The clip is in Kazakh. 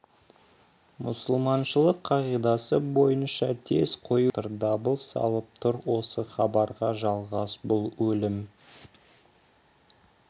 мұсылманшылық қағидасы бойынша тез қою керек деп жатыр дабыл салып тұр осы хабарға жалғас бұл өлім